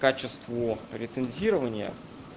качество рецензирования